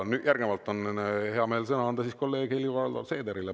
Järgnevalt on hea meel sõna anda kolleeg Helir-Valdor Seederile.